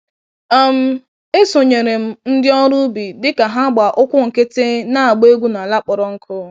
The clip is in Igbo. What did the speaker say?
um Esonyere m ndị ọrụ ubi dịka ha gbá ụkwụ nkịtị na-agba egwu n'ala kpọrọ nkụ.